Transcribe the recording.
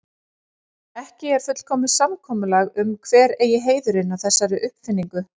Ekki er fullkomið samkomulag um hver eigi heiðurinn að þessari uppfinningu.